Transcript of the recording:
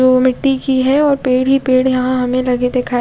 ओ मिट्टी की है और पेड़ ही पेड़ यहाँ हमे लगे दिखाई--